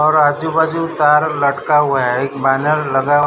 और आजू बाजू तार लटका हुआ है एक बैनर लगा।